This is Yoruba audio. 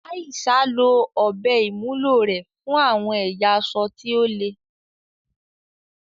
Aisha lo ọ̀bẹ ìwúlò rẹ̀ fún àwọn ẹ̀yà aṣọ tí ó le.